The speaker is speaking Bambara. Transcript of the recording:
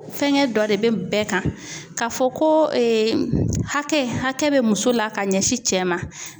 Fɛnkɛ dɔ de bɛ bɛɛ kan k'a fɔ ko hakɛ hakɛ bɛ muso la ka ɲɛsin cɛ ma.